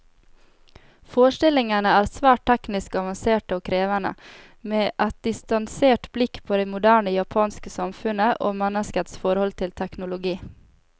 Forestillingene er svært teknisk avanserte og krevende, med et distansert blikk på det moderne japanske samfunnet, og menneskets forhold til teknologi.